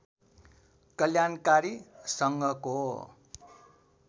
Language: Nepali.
कल्याणकारी सङ्घको